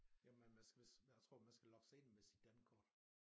Jamen man skal vist jeg tror man skal logge sig ind med sit dankort